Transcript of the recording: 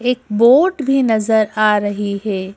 एक बोट भी नजर आ रही है।